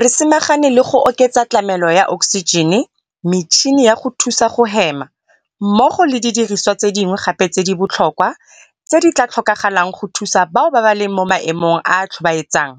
Re samagane le go oketsa tlamelo ya oksijene, metšhini ya go thusa go hema mmogo le didirisiwa tse dingwe gape tse di botlhokwa tse di tla tlhokagalang go thusa bao ba leng mo maemong a a tlhobaetsang,